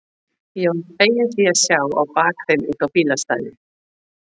Ég var feginn því að sjá á bak þeim út á bílastæðið.